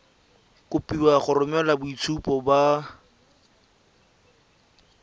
kopiwa go romela boitshupo ba